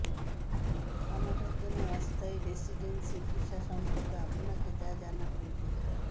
কানাডার জন্য অস্থায়ী রেসিডেন্সি ভিসা সম্পর্কে আপনাকে যা জানা প্রয়োজন